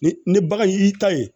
Ni ni bagan y'i ta ye